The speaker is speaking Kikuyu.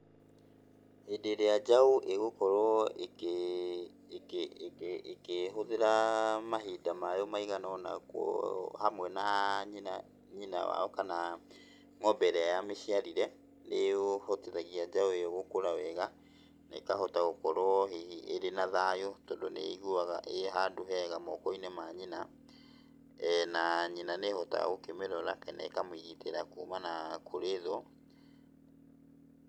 Hĩndĩ ĩrĩa njaũ ĩgũkorwo ĩkĩhũthĩra mahinda mayo maigana ũna hamwe na nyina, nyina wao kana ng'ombe ĩrĩa yamĩciarire, nĩũhotithagia njaũ ĩyo gũkũra wega, na ĩkahota gũkorwo hihi ĩrĩ na thayũ, tondũ nĩĩiguaga ĩ handũ hega moko-inĩ ma nyina, na nyina nĩhotaga kũmĩrora na ĩkamĩgitĩra kumana kũrĩ thũ.